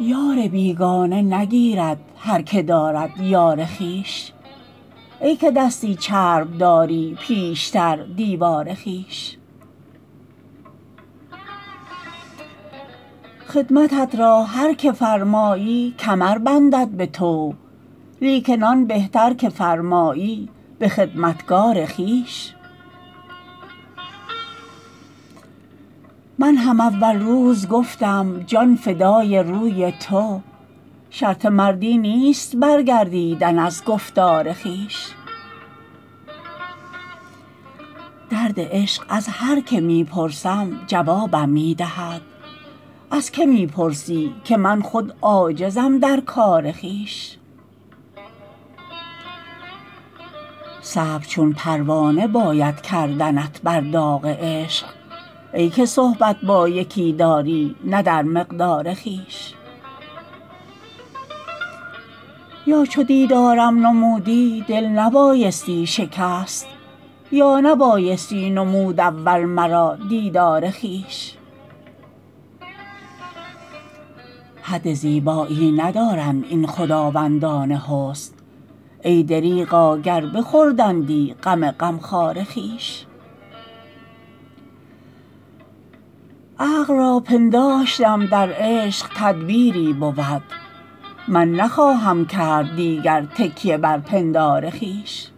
یار بیگانه نگیرد هر که دارد یار خویش ای که دستی چرب داری پیشتر دیوار خویش خدمتت را هر که فرمایی کمر بندد به طوع لیکن آن بهتر که فرمایی به خدمتگار خویش من هم اول روز گفتم جان فدای روی تو شرط مردی نیست برگردیدن از گفتار خویش درد عشق از هر که می پرسم جوابم می دهد از که می پرسی که من خود عاجزم در کار خویش صبر چون پروانه باید کردنت بر داغ عشق ای که صحبت با یکی داری نه در مقدار خویش یا چو دیدارم نمودی دل نبایستی شکست یا نبایستی نمود اول مرا دیدار خویش حد زیبایی ندارند این خداوندان حسن ای دریغا گر بخوردندی غم غمخوار خویش عقل را پنداشتم در عشق تدبیری بود من نخواهم کرد دیگر تکیه بر پندار خویش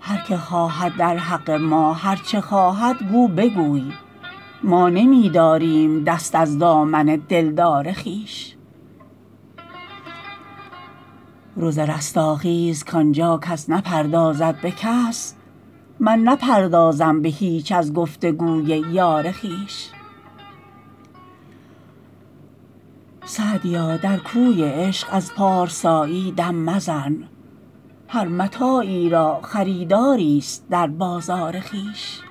هر که خواهد در حق ما هر چه خواهد گو بگوی ما نمی داریم دست از دامن دلدار خویش روز رستاخیز کان جا کس نپردازد به کس من نپردازم به هیچ از گفت و گوی یار خویش سعدیا در کوی عشق از پارسایی دم مزن هر متاعی را خریداریست در بازار خویش